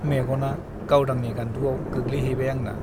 मेग'ना गावदांनि गान्दुवाव गोग्लैहैबाय आंना ।